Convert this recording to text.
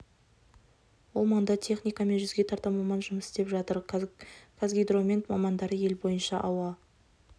ол маңда техника мен жүзге тарта маман жұмыс істеп жатыр қазгидромет мамандары ел бойынша ауа